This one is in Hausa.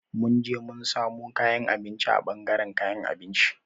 Mun je mun samo kayan abinci a ɓangaren kayan abinci.